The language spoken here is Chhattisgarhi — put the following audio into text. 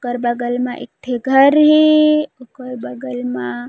ओकर बगल म एकठो घर हे ओकर बगल मा--